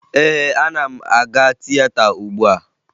Ee, ana m aga tieta ugbua